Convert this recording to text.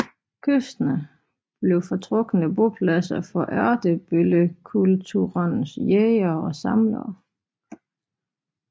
Kysterne blev foretrukne bopladser for Ertebøllekulturens jægere og samlere